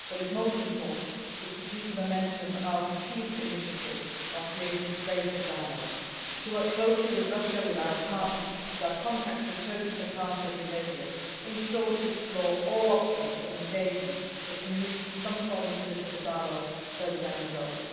happening. What is most important is to keep the momentum of al Khatib's initiative by creating space for dialogue, to work closely with Russia, with Arab partners, with our contacts in Turkey, Qatar and Saudi Arabia in short, to explore all options of engagement that can lead to some form of political dialogue further down